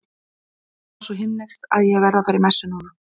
Það var svo himneskt að ég verð að fara í messu núna.